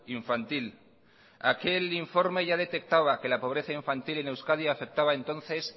infantil aquel informe ya detectaba que la pobreza infantil en euskadi afectaba entonces